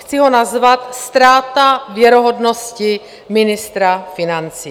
Chci ho nazvat Ztráta věrohodnosti ministra financí.